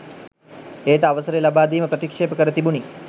එයට අවසරය ලබා දීම ප්‍රතික්ෂේප කර තිබුණි